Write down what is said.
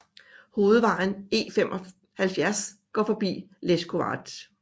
Hovedvejen E 75 går forbi leskovac